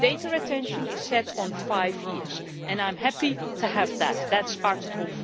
Data retention is set at five years and I am happy to have that. That is Article